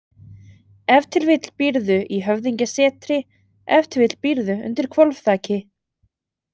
Ef til vill býrðu í höfðingjasetri, ef til vill býrðu undir hvolfþaki.